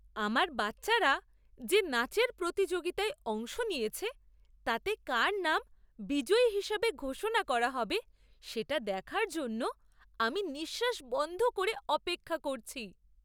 আমার বাচ্চারা যে নাচের প্রতিযোগিতায় অংশ নিয়েছে তাতে কার নাম বিজয়ী হিসাবে ঘোষণা করা হবে সেটা দেখার জন্য আমি নিঃশ্বাস বন্ধ করে অপেক্ষা করছি!